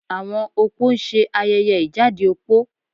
Àwọn opó ń ṣe ayẹyẹ ìjáde opó